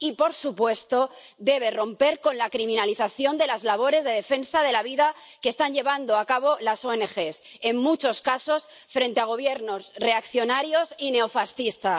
Y, por supuesto, debe romper con la criminalización de las labores de defensa de la vida que están llevando a cabo las ONG, en muchos casos frente a Gobiernos reaccionarios y neofascistas.